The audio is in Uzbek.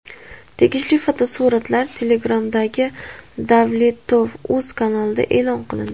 Tegishli fotosuratlar Telegram’dagi DavletovUz kanalida e’lon qilindi .